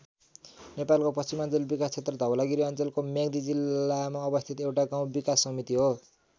नेपालको पश्चिमाञ्चल विकास क्षेत्र धवलागिरी अञ्चलको म्याग्दी जिल्लामा अवस्थित एउटा गाउँ विकास समिति हो।